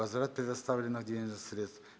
возврат предоставленных денежных средств